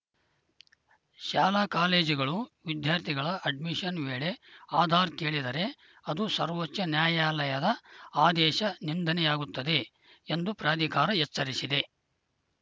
ಶಾಲಾಕಾಲೇಜುಗಳು ವಿದ್ಯಾರ್ಥಿಗಳ ಅಡ್ಮಿಷನ್‌ ವೇಳೆ ಆಧಾರ್‌ ಕೇಳಿದರೆ ಅದು ಸರ್ವೋಚ್ಚ ನ್ಯಾಯಾಲಯದ ಆದೇಶನಿಂದನೆಯಾಗುತ್ತದೆ ಎಂದು ಪ್ರಾಧಿಕಾರ ಎಚ್ಚರಿಸಿದೆ